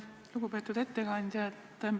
Lugupeetud ettekandja!